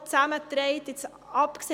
Sie müssen eines sehen: